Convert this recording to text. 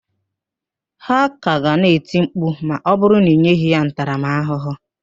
Ha ka ga na-eti mkpu ma ọ bụrụ na ị nyeghị ha ntaramaahụhụ